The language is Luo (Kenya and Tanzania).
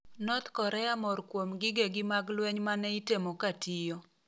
North Korea mor kuom gigegi mag lueny maneitemo ka tiyo.